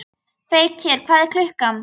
Feykir, hvað er klukkan?